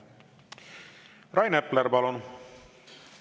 Rain Epler, palun!